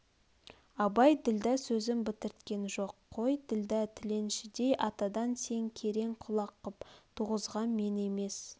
абай ділдә сөзін бітірткен жоқ қой ділдә тіленшідей атадан сен керең құлақ қып туғызған мен емес